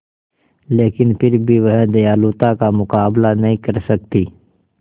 लेकिन फिर भी वह दयालुता का मुकाबला नहीं कर सकती